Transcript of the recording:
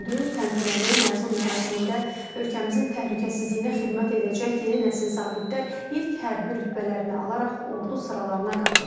Təntənəli məzun mərasimində ölkəmizin təhlükəsizliyinə xidmət edəcək yeni nəsil zabitlər ilk hərbi rütbələrini alaraq ordu sıralarına qatıldılar.